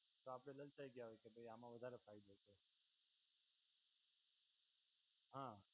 તો આપડે લાલચાઈ ગયા હોય કે ભઈ આમાં વધારે ફાયદો છે. હા